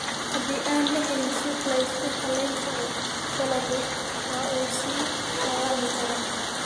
Haddii aan la helin suuq la isku halayn karo, dalaggu waa uu dhaawacmi karaa.